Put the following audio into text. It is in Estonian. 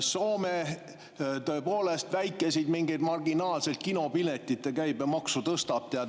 Soome tõepoolest väikeseid, mingeid marginaalseid, kinopiletite käibemaksu tõstab.